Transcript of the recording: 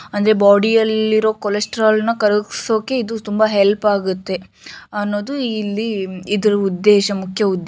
ಅಂದ್ರೆ ಬಾಡಿ ಯಲ್ಲಿರುವ ಕೊಲೆಸ್ಟ್ರಾಲ್ ಅನ್ನು ಕರಗಿಸೋಕೆ ಇದು ತುಂಬಾ ಹೆಲ್ಪ್ ಆಗುತ್ತೆ ಅನ್ನೋದು ಇಲ್ಲಿ ಇದರ ಉದ್ದೇಶ ಮುಖ್ಯ ಉದ್ದೇಶ --